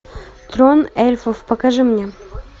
трон эльфов покажи мне